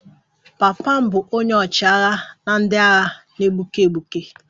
Papa m bụ onye ọchịagha ndị agha na-egbuke egbuke